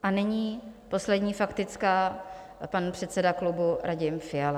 A nyní poslední faktická, pan předseda klubu Radim Fiala.